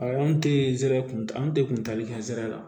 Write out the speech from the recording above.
A an tɛ zɛrɛ kun de kun tali kɛ ɛri la